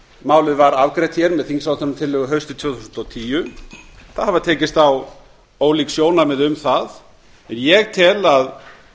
málið var afgreitt með þingsályktunartillögu haustið tvö þúsund og tíu það hafa tekist á ólík sjónarmið um það en ég tel að